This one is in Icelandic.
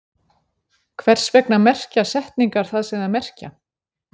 Hvers vegna merkja setningar það sem þær merkja?